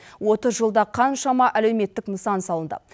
отыз жылда қаншама әлеуметтік нысан салынды